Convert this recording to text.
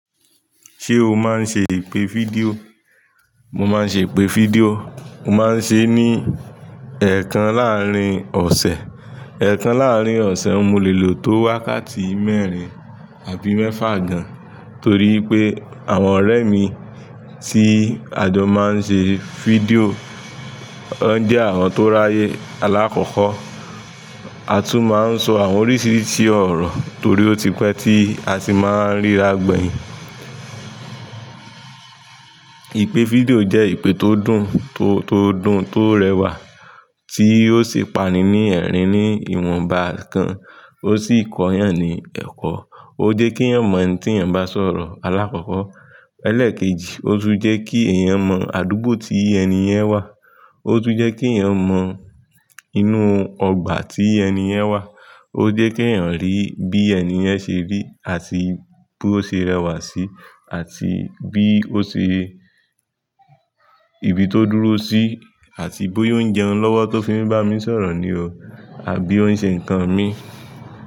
Ṣé o máa ń ṣe ìpè fídíò? Mo máa ń ṣe ìpè fídíò. Mo máa ń ṣe ní ẹẹkan láàárín ọ̀sẹ̀. Ẹẹkan láàárín ọ̀sẹ̀. Mo lè lò tó wákàtí mẹ́rin àbí mẹ́fà gán, torí wipé àwọn ọ̀rẹ́ mi tí a jọ máa ń ṣe fídíò, wọ́n jẹ́ àwọn tó ráyè, alákọ́kọ́. A tún máa ń sọ àwọn oríṣiríṣi ọ̀rọ̀ torí ó ti pẹ́ tí a sì máa ń ríra gbẹ̀yìn. Ìpè fídíò jẹ́ ìpè tó dùn, tó, tó dùn, tó rẹwà, tí ó sì pani ní ẹ̀rín ní ìwọ̀nba kan, ó sì kọ yàn ni ẹ̀kọ́. Ó jẹ́ kí eyàn mọ ẹni tí yàn bá sọ̀rọ̀, alákọ́kọ́. Ẹlẹ́ẹ̀kejì, ó tún jẹ́ kí èèyàn mọ àdúgbò tí ẹni yẹn wà. Ó tún jẹ́ kí èèyàn mọ inú ọgbà tí ẹni yẹn wà. Ó jẹ́ kí èèyàn rí bí ẹni yẹn ṣe rí àti bí ó ṣe rẹwà sí àti bí ó ṣe, ibi tó dúró sí àti bóyá ó ń jẹun lọ́wọ́ tó fi ń bá mi sọ̀rọ̀ ni o àbí ó ń ṣe nǹkan mi.